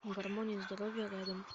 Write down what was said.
гармония здоровья рядом